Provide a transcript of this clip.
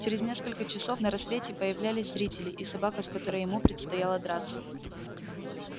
через несколько часов на рассвете появлялись зрители и собака с которой ему предстояло драться